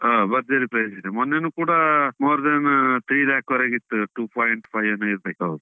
ಹ ಭರ್ಜರಿ price ಇದೆ. ಮೊನ್ನೆನು ಕೂಡಾ more than three lakh ವರೆಗೆ ಇತ್ತು, two point five ಏನೊ ಇರ್ಬೇಕು.